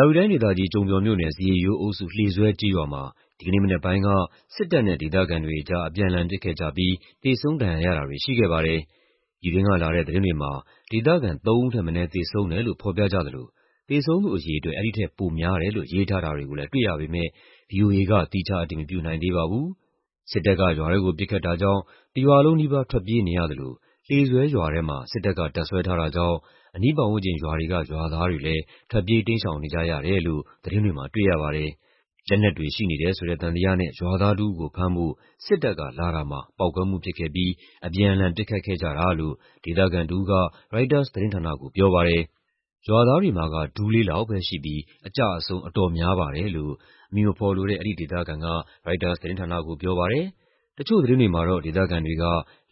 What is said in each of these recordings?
ာဝတီတိုင်းဒေသကြီး၊ ကျုံပျော်မြို့နယ်၊ ဇရစ်ရိုးအုပ်စု၊ လှေဆွဲကျေးရွာမှာ ဒီကနေ့မနက်ပိုင်းက စစ်တပ်နဲ့ ဒေသခံတွေအကြား အပြန်အလှန် ပစ်ခတ်ကြပြီး သေဆုံး ဒဏ်ရာရတာတွေ ရှိခဲ့ပါတယ်။ ပြည်တွင်းကလာတဲ့ သတင်းတွေမှာ ဒေသခံ ၃ ဦးထက်မနည်း သေဆုံးတယ်လို့ ဖော်ပြကြသလို သေဆုံးသူအရေအတွက် အဲဒီထက် ပိုများတယ်လို့ ရေးထားတာတွေကိုလည်း တွေ့ရပေမယ့် ဗွီအိုအေက သီးခြား အတည်မပြုနိုင်သေးပါဘူး။ စစ်တပ်က ရွာထဲကို ပစ်ခတ်တာကြောင့် တရွာလုံးနီးပါး ထွက်ပြေးနေရသလို လှေဆွဲရွာထဲမှာ စစ်တပ်က တပ်စွဲထားတာကြောင့် အနီးပတ်ဝန်းကျင်ရွာတွေက ရွာသားတွေလည်း ထွက်ပြေး တိမ်းရှောင်နေကြရတယ်လို့ သတင်းတွေမှာ တွေ့ရပါတယ်။ လက်နက်တွေရှိနေတယ်ဆိုတဲ့ သံသယနဲ့ ရွာသားတဦးကို ဖမ်းဖို့ စစ်တပ်ကလာတာမှာ ပေါက်ကွဲမှုဖြစ်ခဲ့ပြီး အပြန်အလှန် ပစ်ခတ်ခဲ့ကြတာလို့ ဒေသခံတဦးက ရိုက်တာသတင်းဌာနကို ပြောပါတယ်။ "ရွာသားတွေမှာက ဒူးလေးလောက်ပဲရှိပြီး အကျအဆုံး အတော်များပါတယ်" လို့ အမည်မဖော်လိုတဲ့ အဲဒီဒေသခံက ရိုက်တာသတင်းဌာနကို ပြောပါတယ်။ တချို့သတင်းတွေမှာတော့ ဒေသခံတွေက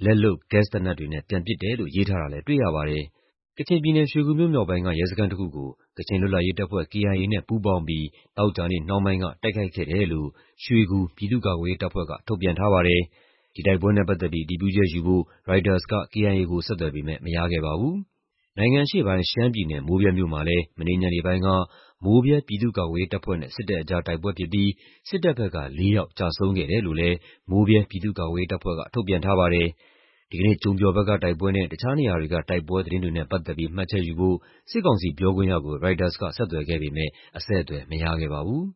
လက်လုပ် ဂက်စ်သေနတ်တွေနဲ့ ပြန်ပစ်တယ်လို့ ရေးထားတာလည်း တွေ့ရပါတယ်။ ကချင်ပြည်နယ်၊ ရွှေဂူမြို့မြောက်ပိုင်းက ရဲစခန်းတခုကို ကချင်လွတ်လပ်ရေးတပ်ဖွဲ့ (KIA) နဲ့ပူးပေါင်းပြီး သောကြာနေ့နှောင်းပိုင်းက တိုက်ခိုက်ခဲ့တယ်လို့ ရွှေဂူ ပြည်သူ့ကာကွယ်ရေးတပ်ဖွဲ့က ထုတ်ပြန်ထားပါတယ်။ ဒီတိုက်ပွဲနဲ့ပတ်သက်ပြီး အတည်ပြုချက်ယူဖို့ ရိုက်တာသတင်းဌာနက KIA ကို ဆက်သွယ်ပေမယ့် မရခဲ့ပါဘူး။ နိုင်ငံအရှေ့ပိုင်း ရှမ်းပြည်နယ်၊ မိုးဗြဲမြို့မှာလည်း မနေ့ညနေပိုင်းက မိုးဗြဲ ပြည်သူ့ကာကွယ်ရေးတပ်ဖွဲ့နဲ့ စစ်တပ်အကြား တိုက်ပွဲဖြစ်ပြီး စစ်တပ်ဘက်က ၄ ယောက် ကျဆုံးခဲ့တယ်လို့လည်း မိုးဗြဲ ပြည်သူ့ကာကွယ်ရေးတပ်ဖွဲ့က ထုတ်ပြန်ထားပါတယ်။ ဒီကနေ့ ကျုံပျော်ဘက်ကတိုက်ပွဲနဲ့ တခြားနေရာတွေက တိုက်ပွဲသတင်းတွေနဲ့ ပတ်သက်ပြီး မှတ်ချက်ယူဖို့ စစ်ကောင်စီပြောခွင့်ရကို ရိုက်တာသတင်းဌာနက ဆက်သွယ်ခဲ့ပေမယ့် အဆက်အသွယ် မရခဲ့ပါဘူး